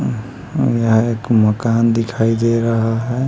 हम्म हम्म यहाँ एक मकान दिखाई दे रहा है--